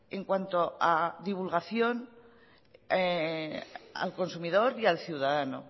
en cuanto a divulgación al consumidor y al ciudadano